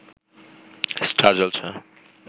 star Jalsha